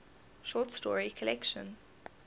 short story collection